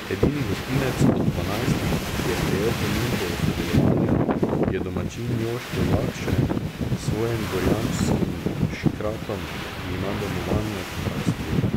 Edini gostinec od dvanajstih, ki je sprejel ponudbo o sodelovanju, je domačin Joško Jakše s svojim Gorjanskim škratom, ki ima domovanje v Hrastju.